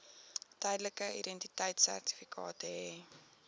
tydelike identiteitsertifikaat hê